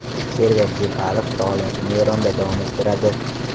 Server Jeparov faoliyatini Eronda davom ettiradi.